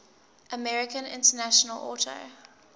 american international auto